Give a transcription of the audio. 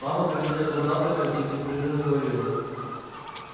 мама кормила его завтраком и беспрерывно говорила